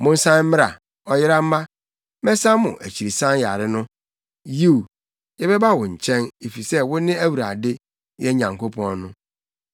“Monsan mmra, ɔyera mma; mɛsa mo akyirisan yare no.” “Yiw, yɛbɛba wo nkyɛn, efisɛ wo ne Awurade, yɛn Nyankopɔn no.